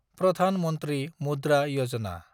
Pradhan Mantri Mudra Yojana